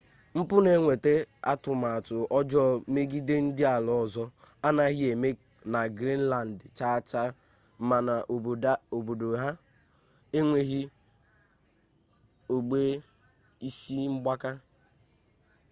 mpụ na ịnwe atụmatụ ọjọọ megide ndị ala ọzọ anaghị eme na greenland chaachaa ma n'obodo ha enweghị ogbe isi mgbaka